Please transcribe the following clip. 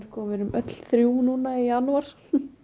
við erum öll þrjú núna í janúar